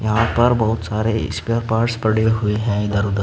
यहां पर बहोत सारे स्पेयर पार्ट्स पड़े हुए हैं इधर उधर।